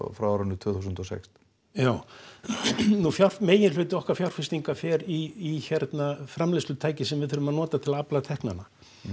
frá árinu tvö þúsund og sex já meginhluti okkar fjárfestinga fer í framleiðslutæki sem við þurfum að nota til að afla teknanna